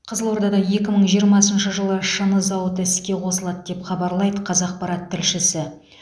қызылордада екі мың жиырмасыншы жылы шыны зауыты іске қосылады деп хабарлайды қазақпарат тілшісі